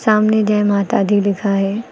सामने जय माता दी लिखा है।